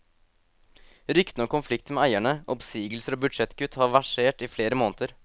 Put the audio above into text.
Ryktene om konflikter med eierne, oppsigelser og budsjettkutt har versert i flere måneder.